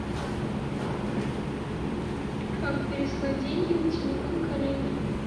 как переслать деньги на телефон коллеги